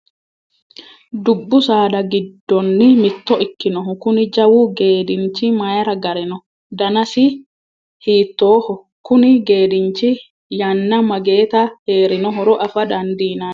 Dubbu saada giddonni mitto ikkinohu Kuni jawu geedinchi mayiira gare no? Danasino hiittoho? Konni geedinchi yanna mageeta heerinohoro afa dandiinanni?